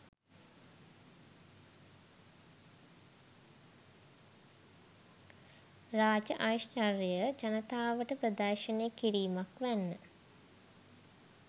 රාජ ඓශ්චර්යය ජනතාවට ප්‍රදර්ශනය කිරීමක් වැන්න.